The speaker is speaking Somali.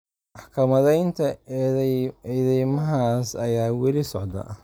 Maxkamadeynta eedeymahaas ayaa wali socda.